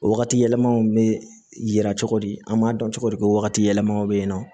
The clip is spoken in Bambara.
O wagati yɛlɛmaw be yira cogo di an b'a dɔn cogo di ko wagati yɛlɛmaw be yen nɔ